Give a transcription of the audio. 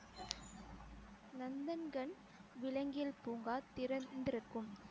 நந்தன்கன் விலங்கியல் பூங்கா திறந்திருக்கும்